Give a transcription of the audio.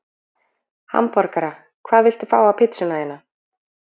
Hamborgara Hvað vilt þú fá á pizzuna þína?